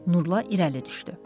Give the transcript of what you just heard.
Nurla irəli düşdü.